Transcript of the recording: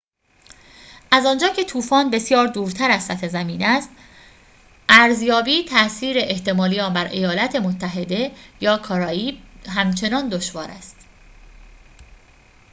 از آنجا که طوفان بسیار دورتر از سطح زمین است ارزیابی تأثیر احتمالی آن بر ایالات متحده یا کارائیب همچنان دشوار است